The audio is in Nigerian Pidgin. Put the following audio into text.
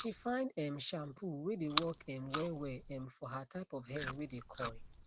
she find um shampoo wae dae work um wellwell um for her type of hair wae dae curl